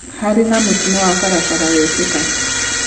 Harĩ na mũtino wa barabara wekĩka.